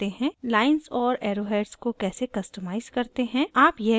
* lines और arrowheads को कैसे customize करते हैं